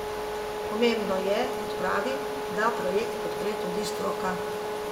Pomembno je, kot pravi, da projekt podpre tudi stroka.